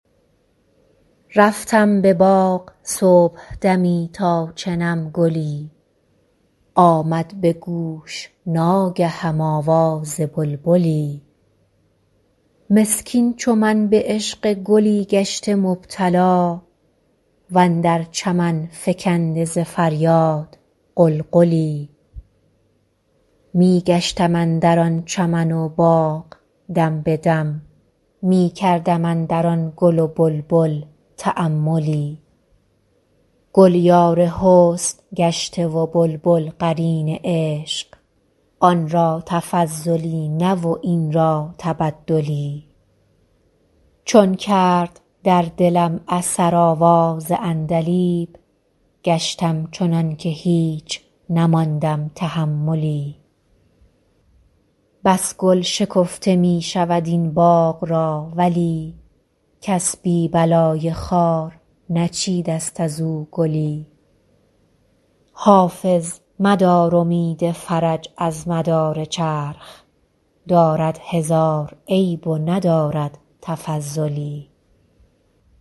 رفتم به باغ صبحدمی تا چنم گلی آمد به گوش ناگهم آواز بلبلی مسکین چو من به عشق گلی گشته مبتلا و اندر چمن فکنده ز فریاد غلغلی می گشتم اندر آن چمن و باغ دم به دم می کردم اندر آن گل و بلبل تاملی گل یار حسن گشته و بلبل قرین عشق آن را تفضلی نه و این را تبدلی چون کرد در دلم اثر آواز عندلیب گشتم چنان که هیچ نماندم تحملی بس گل شکفته می شود این باغ را ولی کس بی بلای خار نچیده ست از او گلی حافظ مدار امید فرج از مدار چرخ دارد هزار عیب و ندارد تفضلی